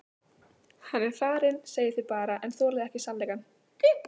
Hann er farinn segið þið bara en þolið ekki sannleikann.